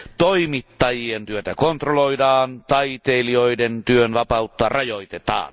Toimittajien työtä kontrolloidaan, taiteilijoiden työn vapautta rajoitetaan.